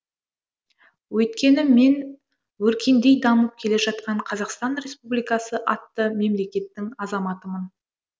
өйткені мен өркендей дамып келе жатқан қазақстан республикасы атты мемлекеттің азаматымын